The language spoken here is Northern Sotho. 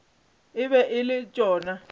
e be e le tšona